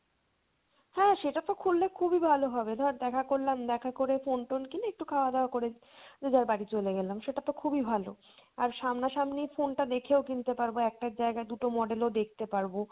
হ্যাঁ সেটা তো করলে খুবই ভালো হবে ধর দেখা করলাম দেখা করে phone টোন কিনে একটু খাওয়া দাওয়া করে যে যার বাড়ি চলে গেলাম সেটা তো খুবই ভালো। আর সামনা সামনি phone টা দেখেও কিনতে পারবো একটা জায়গায় দুটো model ও দেখতে পারবো